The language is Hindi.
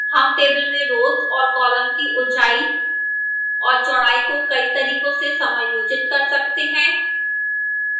हम table में rows और columns की ऊंचाई और चौड़ाई को कई तरीकों से समायोजित कर सकते हैं